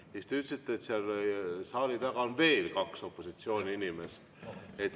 Siis te ütlesite, et seal saali taga on veel kaks opositsiooni inimest.